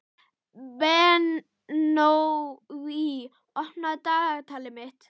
Benoný, opnaðu dagatalið mitt.